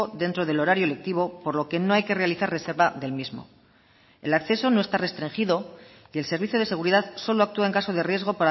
dentro del horario lectivo por lo que no hay que realizar reserva del mismo el acceso no está restringido y el servicio de seguridad solo actúa en caso de riesgo